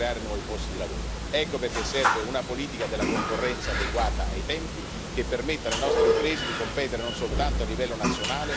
Ecco perché serve una politica della concorrenza adeguata ai tempi, che permetta alle nostre imprese di competere non soltanto a livello nazionale ma anche a livello globale.